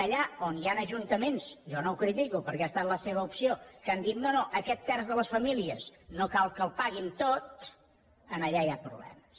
allà on hi han ajuntaments jo no ho critico perquè ha estat la seva opció que han dit no no aquest terç de les famílies no cal que el paguin tot allà hi ha problemes